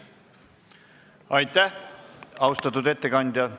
Aitäh, austatud ettekandja!